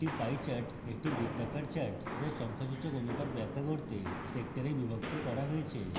একটি pie chart একটি বৃত্তাকার chart যা সংখ্যাসূচক অনুপাত ব্যাখ্যা করতে sectors বিভক্ত করা হয়েছে